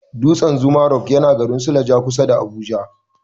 Dutsan zuma rock yana garin suleja, kusa da Abuja.